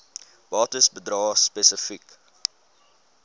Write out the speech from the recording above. bates bedrae spesifiek